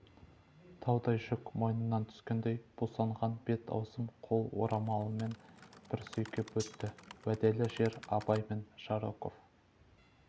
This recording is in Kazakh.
таудай жүк мойнынан түскендей бусанған бет-аузын қол орамалымен бір сүйкеп өтті уәделі жер абай мен жароков